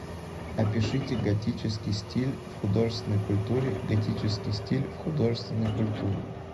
опишите готический стиль в художественной культуре готический стиль в художественной культуре